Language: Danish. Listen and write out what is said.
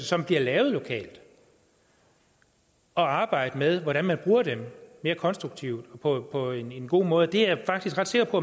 som bliver lavet lokalt og arbejde med hvordan man bruger dem mere konstruktivt på på en god måde det er jeg faktisk ret sikker på